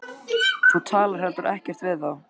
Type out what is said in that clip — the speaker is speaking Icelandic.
Þú talar heldur ekkert við þá.